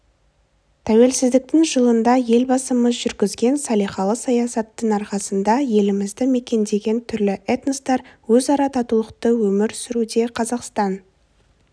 тәуелсіздіктің жылында елбасымыз жүргізген салиқалы саясаттың арқасында елімізді мекендеген түрлі этностар өзара татулықта өмір сүруде қазақстан